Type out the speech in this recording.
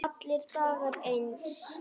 Allir dagar eins.